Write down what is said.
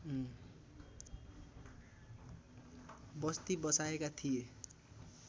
बस्ती बसाएका थिए